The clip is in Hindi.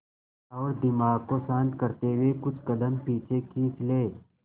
और दिमाग को शांत करते हुए कुछ कदम पीछे खींच लें